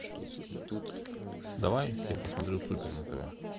давай я посмотрю супер на тв